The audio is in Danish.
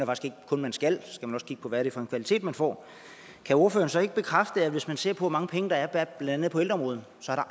man skal for man skal også kigge på hvad det er for en kvalitet man får kan ordføreren så ikke bekræfte at hvis man ser på hvor mange penge der er blandt andet på ældreområdet så har